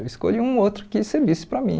Eu escolhi um outro que servisse para mim.